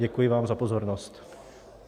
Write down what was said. Děkuji vám za pozornost.